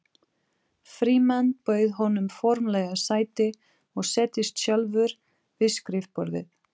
Frímann bauð honum formlega sæti og settist sjálfur við skrifborðið.